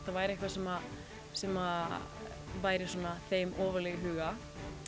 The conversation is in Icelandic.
það væri eitthvað sem sem væri þeim ofarlega í huga